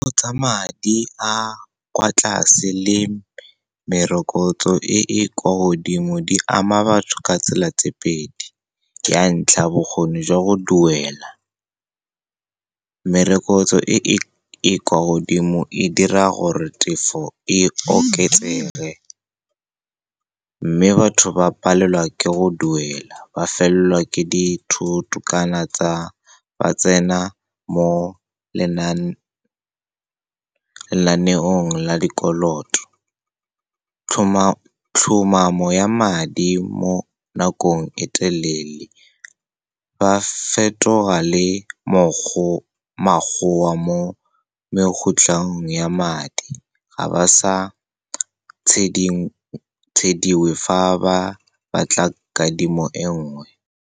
Tsa madi a kwa tlase le merokotso e e kwa godimo di ama batho ka tsela tse pedi. Ya ntlha, bokgoni jwa go duela. Merokotso e e kwa godimo e dira gore tefo e oketsege, mme batho ba palelwa ke go duela, ba felelelwa ke dithoto, kana ba tsena mo lenaneong la dikoloto. Tlhomamo ya madi mo nakong e telele, ba fetoga le mo mekgotlhong ya madi. Ga ba sa tshediwe fa ba batla kadimo engwe.